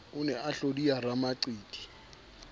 o ne a hlodiya ramaqiti